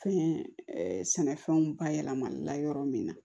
Fɛn sɛnɛfɛnw bayɛlɛmali la yɔrɔ min na